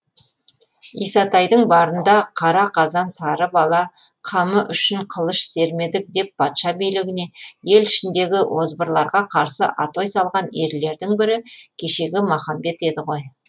исатайдың барында қара қазан сары бала қамы үшін қылыш сермедік деп патша билігіне ел ішіндегі озбырларға қарсы атой салған ерлердің бірі кешегі махамбет еді ғой